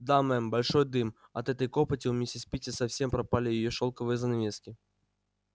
да мэм большой дым от этой копоти у мисс питти совсем пропали её шелковые занавески